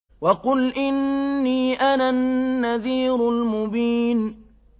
وَقُلْ إِنِّي أَنَا النَّذِيرُ الْمُبِينُ